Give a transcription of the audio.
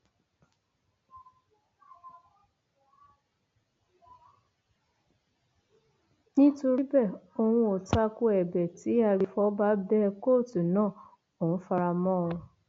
nítorí bẹẹ òun ò ta ko ẹbẹ tí agbèfọba bẹ kóòtù náà òun fara mọ ọn